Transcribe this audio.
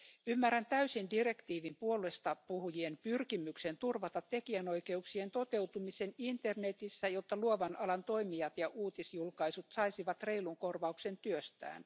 Ymmärrän täysin direktiivin puolestapuhujien pyrkimyksen turvata tekijänoikeuksien toteutumisen internetissä, jotta luovan alan toimijat ja uutisjulkaisut saisivat reilun korvauksen työstään.